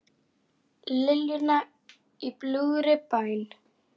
Liljuna og Í bljúgri bæn.